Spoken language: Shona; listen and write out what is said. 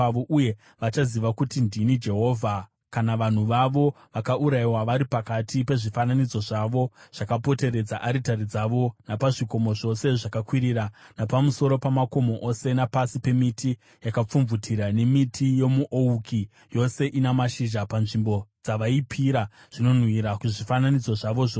Uye vachaziva kuti ndini Jehovha, kana vanhu vavo vakaurayiwa vari pakati pezvifananidzo zvavo zvakapoteredza aritari dzavo, napazvikomo zvose zvakakwirira napamusoro pamakomo ose, napasi pemiti yakapfumvutira nemiti yomuouki yose ina mashizha panzvimbo dzavaipira zvinonhuhwira kuzvifananidzo zvavo zvose.